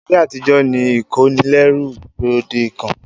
Ayé àtijó ni ìkónilẹ́rú gbòdekàn.